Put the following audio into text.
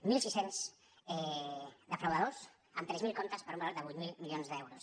mil sis cents defraudadors amb tres mil comptes per un valor de vuit mil milions d’euros